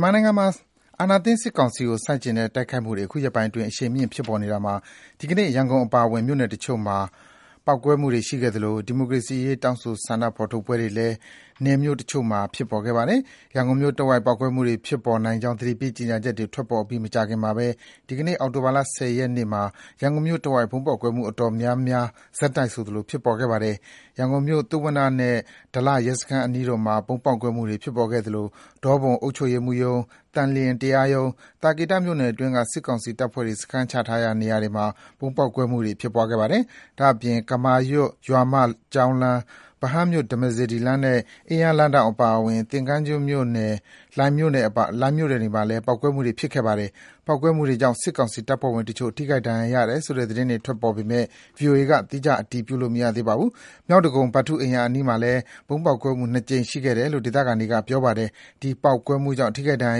်မာနိုင်ငံမှာ အာဏာသိမ်းစစ်ကောင်စီကို ဆန့်ကျင်တဲ့ တိုက်ခိုက်မှုတွေ အခုရက်ပိုင်းအတွင်း အရှိန်မြင့် ဖြစ်ပေါ်နေတာမှာ ဒီကနေ့ ရန်ကုန်အပါအဝင် နယ်မြို့တချို့မှာ ဗုံးပေါက်ကွဲမှုတွေ ရှိခဲ့သလို ဒီမိုကရေစီအရေး တောင်းဆို ဆန္ဒဖော်ထုတ်ပွဲတွေလည်း မြို့နယ်တချို့မှာ ဖြစ်ပေါ်ခဲ့ပါတယ်။ ရန်ကုန်မြို့တဝိုက် ပေါက်ကွဲမှုတွေ ဖြစ်ပေါ်နိုင်ကြောင်း သတိပေးကြေညာချက်တွေ ထွက်ပေါ်ပြီး မကြာခင်မှာပဲ ဒီကနေ့ အောက်တိုဘာလ ၁၀ ရက်နေ့မှာ ရန်ကုန်မြို့တဝိုက် ဗုံးပေါက်ကွဲမှု အတော်များများ ဆက်တိုက်ဆိုသလို ဖြစ်ပေါ်ခဲ့ပါတယ်။ ရန်ကုန်မြို့၊ သုဝဏ္ဏနဲ့ ဒလရဲစခန်းအနီးတို့မှာ ဗုံးပေါက်ကွဲမှုတွေ ဖြစ်ပေါ်ခဲ့သလို ဒေါပုံအုပ်ချုပ်ရေးမှူးရုံး၊ သန်လျင်တရားရုံး၊ သာကေတမြို့နယ်အတွင်းက စစ်ကောင်စီတပ်ဖွဲ့ စခန်းချရာ နေရာတွေမှာလည်း ဗုံးပေါက်ကွဲမှုတွေ ဖြစ်ခဲ့ပါတယ်။ ဒါ့အပြင် ကမာရွတ် ရွာမကျောင်းလမ်း၊ ဗဟန်းမြို့ ဓမ္မစေတီလမ်းနဲ့ အင်းယားလမ်းထောင့် အပါအဝင် သင်္ဃန်းကျွန်းနဲ့ လှိုင်မြို့နယ်တွေမှာလည်း ပေါက်ကွဲမှုတွေ ဖြစ်ခဲ့ပါတယ်။ ပေါက်ကွဲမှုတွေကြောင့် စစ်ကောင်စီတပ်ဖွဲ့ဝင်တချို့ ထိခိုက်ဒဏ်ရာရတယ်ဆိုတဲ့ သတင်းတွေ ထွက်ပေါ်နေပေမယ့် ဗွီအိုအေက သီးခြား အတည်ပြုလို့ မရသေးပါဘူး။ မြောက်ဒဂုံ ဗထူးအိမ်ရာ အနီးမှာလည်း ဗုံးပေါက်ကွဲမှုနှစ်ကြိမ် ရှိခဲ့တယ်လို့ ဒေသခံတွေက ပြောပါတယ်။ ဒီပေါက်ကွဲမှုတွေကြောင့် ထိခိုက်ဒဏ်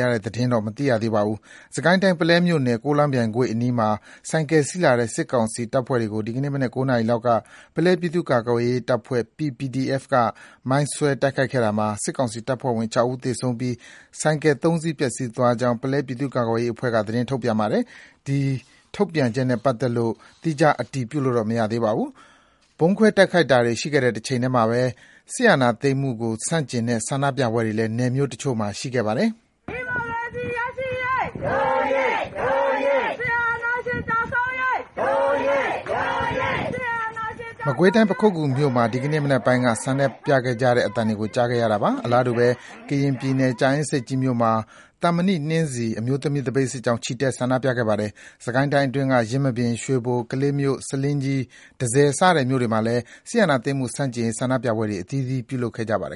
ရာရတဲ့ သတင်းတော့ မသိရသေးပါဘူး။ စစ်ကိုင်းတိုင်း၊ ပုလဲမြို့နယ်၊ ကိုးလောင်းပြိုင်ကွေ့အနီးမှာ ဆိုင်ကယ်စီးလာတဲ့ စစ်ကောင်စီတပ်ဖွဲ့တွေကို ဒီကနေ့မနက် ၉ နာရီလောက်က ပုလဲပြည်သူ့ကာကွယ်ရေးတပ်ဖွဲ့ (PPDF) က မိုင်းဆွဲတိုက်ခိုက်ခဲ့တာမှာ စစ်ကောင်စီတပ်ဖွဲ့ဝင် ၆ ဦးသေဆုံးပြီး ဆိုင်ကယ် ၃ စီး ပျက်ဆီးသွားကြောင်း ပုလဲပြည်သူ့ကာကွယ်ရေးအဖွဲ့က သတင်းထုတ်ပြန်ပါတယ်။ ဒီထုတ်ပြန်ချက်နဲ့ ပတ်သက်လို့ သီးခြားအတည်ပြုလို့ မရသေးပါဘူး။ ဗုံးခွဲတိုက်ခိုက်တာတွေ ရှိခဲ့တဲ့ တချိန်တည်းမှာပဲ စစ်အာဏာသိမ်းမှုကို ဆန့်ကျင်တဲ့ ဆန္ဒပြပွဲတွေလည်း မြို့နယ်တချို့မှာ ဆက်ရှိနေဆဲပါ။ မကွေးတိုင်း၊ ပခုက္ကူမြို့မှာ ဒီကနေ့မနက်ပိုင်းက ဆန္ဒပြခဲ့ကြသလို အလားတူပဲ ကရင်ပြည်နယ်၊ ကြာအင်းဆိပ်ကြီးမြို့မှာ “သံမဏိနှင်းဆီ” အမျိုးသမီး သပိတ်စစ်ကြောင်း ချီတက်ဆန္ဒပြခဲ့ပါတယ်။ စစ်ကိုင်းတိုင်းအတွင်းက ယင်းမာပင်၊ ရွှေဘို၊ ကလေးမြို့၊ ဆားလင်းကြီး၊ တန့်ဆည် စတဲ့ မြို့နယ်တွေမှာလည်း စစ်အာဏာသိမ်းမှု ဆန့်ကျင်ရေး ဆန္ဒပြပွဲတွေ အသီးသီး ပြုလုပ်ခဲ့ကြပါတယ်